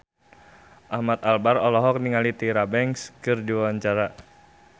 Ahmad Albar olohok ningali Tyra Banks keur diwawancara